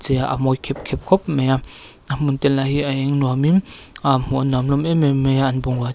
chei a a mawi khep khep khawp mai a a hmun te lah hi a eng nuam in ahh hmuh an nuam em em mai a an bungrua te--